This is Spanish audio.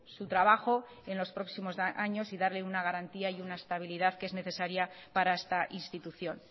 su trabajo en los próximos años y darle una garantía y una estabilidad que es necesaria para esta institución